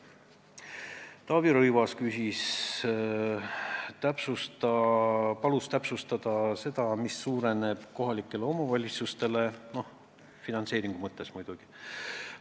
Taavi Rõivas palus täpsustada, mis suureneb finantseeringu mõttes kohalikele omavalitsustele.